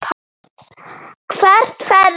Hvert ferðu?